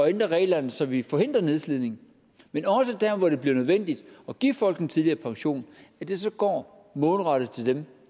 ændre reglerne så vi forhindrer nedslidning men også der hvor det bliver nødvendigt at give folk en tidligere pension går målrettet til dem